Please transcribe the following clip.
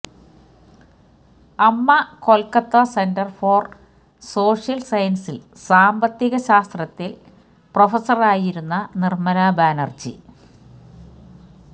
അമ്മ Kolkata centre for social സയൻസിൽ സാമ്പത്തിക ശാസ്ത്രത്തിൽ പ്രൊഫസറായിരുന്ന നിർമല ബാനർജി